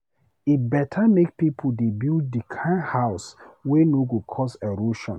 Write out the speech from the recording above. E beta make pipo dey build di kind house wey no go cause erosion